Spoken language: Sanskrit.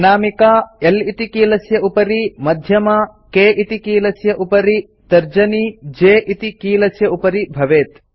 अनामिका L इति कीलस्य उपरि मध्यमा K इति कीलस्य उपरि तर्जनी J इति कीलस्य उपरि भवेत्